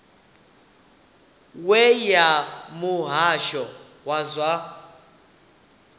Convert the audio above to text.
we ya muhasho wa zwa